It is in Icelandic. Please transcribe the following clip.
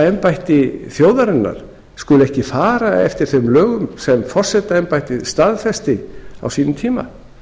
embætti þjóðarinnar skuli ekki fara eftir þeim lögum sem forsetaembættið staðfesti á sínum tíma